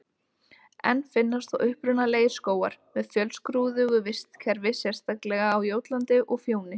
Enn finnast þó upprunalegir skógar með fjölskrúðugu vistkerfi, sérstaklega á Jótlandi og Fjóni.